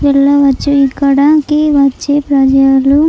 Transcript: వెళ్లవచ్చు ఇక్కడ కి వచ్చి ప్రజలు --